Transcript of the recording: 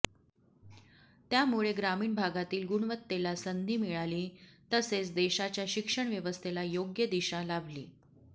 त्यामुळे ग्रामीण भागातील गुणवत्तेला संधी मिळाली तसेच देशाच्या शिक्षण व्यवस्थेला योग्य दिशा लाभली